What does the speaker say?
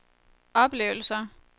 oplevelser